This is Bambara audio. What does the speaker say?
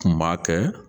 Kun b'a kɛ